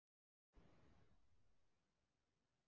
Birta: En aðrir kannski tregari í taumi eða hvað?